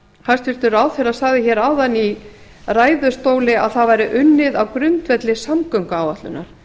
hæstvirtur ráðherra sagði áðan í ræðustóli að það væri unnið á grundvelli samgönguáætlunar